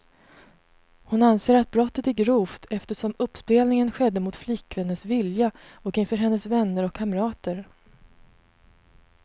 Hon anser att brottet är grovt, eftersom uppspelningen skedde mot flickvännens vilja och inför hennes vänner och kamrater.